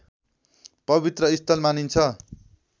पवित्र स्थल मानिन्छ